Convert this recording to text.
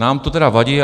Nám to tedy vadí.